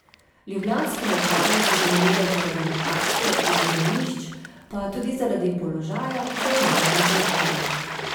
Ljubljanske mlekarne so zanimive zaradi lokacije in zemljišč pa tudi zaradi položaja, ki ga imajo na Balkanu.